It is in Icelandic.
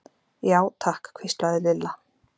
Já, takk hvíslaði Lilla.